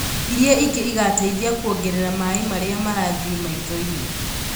Iria ingĩ igateithia kuongerera maĩ marĩa marathiĩ maitho-inĩ